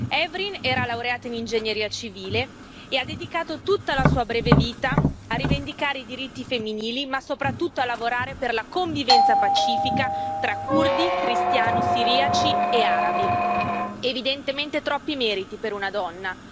Hevrin Kalaf era laureata in ingegneria civile e ha dedicato tutta la sua breve vita a rivendicare i diritti femminili, ma soprattutto a lavorare per la convivenza pacifica tra curdi, cristiano siriaci e arabi, evidentemente troppi meriti per una donna.